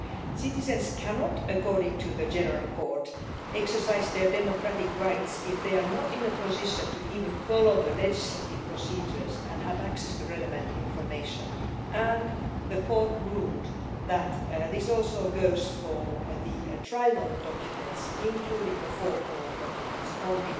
Citizens cannot, according to the General Court, exercise their democratic rights if they are not in a position to even follow the legislative procedures and have access to relevant information, and the Court ruled that this also goes for the trilogue documents, including the four column documents on